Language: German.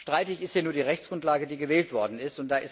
Streitig ist ja nur die Rechtsgrundlage, die gewählt worden ist.